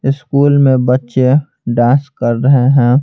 School में बच्चे dance कर रहे हैं।